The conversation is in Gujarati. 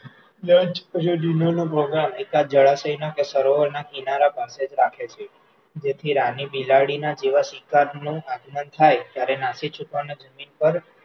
જળાશયોના કે સરોવરના કિનારા પાlpસે જ રાખે છે, જેથી રાની બિલાડીના જેવા શિકારનું આગમન થાય ત્યારે નાસી છૂટવાનું જમીન પર